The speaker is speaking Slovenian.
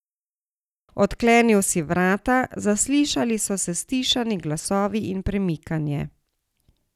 Odklenil si vrata, zaslišali so se stišani glasovi in premikanje.